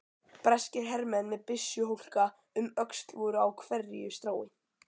Breskir hermenn með byssuhólka um öxl voru á hverju strái.